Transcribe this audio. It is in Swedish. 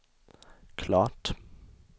klart